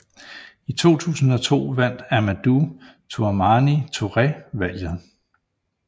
I 2002 vandt Amadou Toumani Touré valget